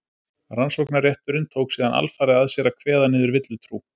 Rannsóknarrétturinn tók síðan alfarið að sér að kveða niður villutrú.